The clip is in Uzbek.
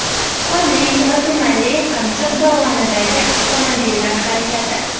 Qorli va tumanli Qamchiq dovonidagi avtomobillar harakati.